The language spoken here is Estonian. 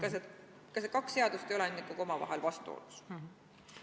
Kas need kaks seadust ei ole ikkagi omavahel vastuolus?